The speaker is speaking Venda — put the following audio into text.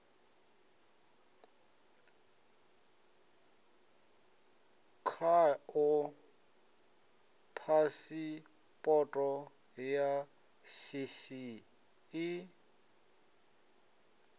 khao phasipoto ya shishi i